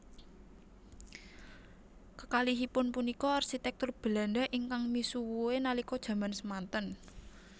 Kekalihipun punika arsitektur Belanda ingkang misuwue nalika jaman semanten